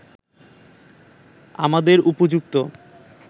আমাদের উপযুক্ত